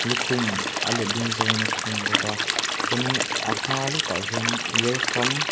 lukhum a letling zawngin a khum bawk a chuanin a hma lawkah hian welcome .